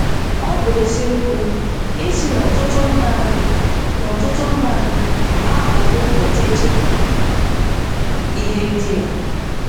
Ọ bụ eziokwu ịsị na n'ọtụtụ mba anyị n'ọtụtụ mba anyị aghọwo poteto ihe ndina